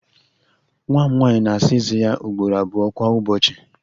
Nwa m nwanyị na-Asa Eze ya ugboro abụọ kwa ụbọchị